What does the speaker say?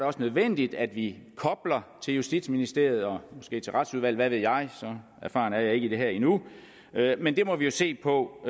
også nødvendigt at vi kobler til justitsministeriet og måske til retsudvalget hvad ved jeg så erfaren er jeg ikke i det her endnu men det må vi jo se på